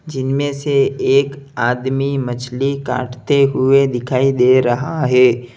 जिनमें से एक आदमी मछली काटते हुए दिखाई दे रहा है।